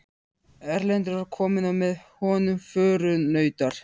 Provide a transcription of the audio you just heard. Erlendur var kominn og með honum förunautar.